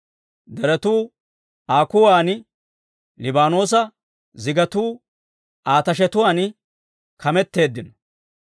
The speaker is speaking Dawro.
Deretuu Aa kuwan, Libaanoosa zigatuu Aa tashetuwaan kameteeddino.